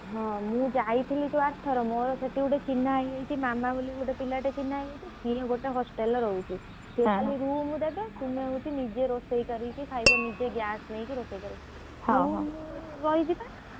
ହଁ ମୁଁ ଯାଇଥିଲି ଯୋଉ ଆରଥର ମୋର ସେଠି ଗୋଟେ ଚିହ୍ନା ହେଇଯାଇଛି ମାମା ବୋଲି ଗୋଟେ ପିଲାଟେ ଚିହ୍ନା ହେଇ ଯାଇଛି room ଦେବେ ତୁମେ ହଉଛି ନିଜେ ରୋଷେଇ କରିକି ଖାଇବ ନିଜେ gas ନେଇକି ରୋଷେଇ କରିବ ତୁ ମୁଁ ରହିଯିବା